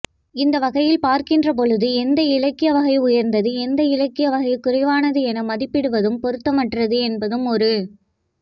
இந்த வகையில் பார்க்கின்ற பொழுது எந்த இலக்கியவகை உயர்ந்தது எந்த இலக்கியவகை குறைவானது என மதிப்பிடுவதும் பொருத்தமற்றது என்பதும் ஒரு